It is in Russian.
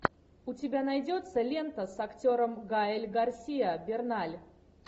у тебя найдется лента с актером гаэль гарсия берналь